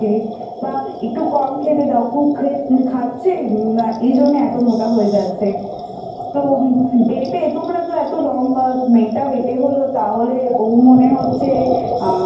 তো মা লাফান দড়ি খেলতে বা Exercise করতে বা একটু কম খেতে দাও খুব খে খাচ্ছে আ এই জন্য এতো ওটা হয়ে যাচ্ছে তো বেটে তোমরা তো এতো লম্বা মেয়েটা বেটে হলো তাহলে ও মনে হচ্ছে